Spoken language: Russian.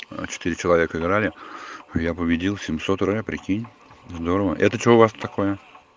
четыре человека играли я победил семьсот рэ прикинь здорово это что у вас такое